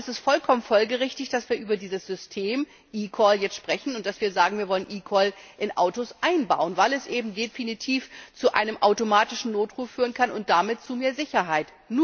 Darum ist es vollkommen folgerichtig, dass wir über dieses System eCall sprechen und sagen, wir wollen eCall in Autos einbauen, weil es eben definitiv zu einem automatischen Notruf führen kann und damit zu mehr Sicherheit.